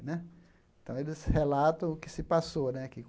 Né então, eles relatam o que se passou né que.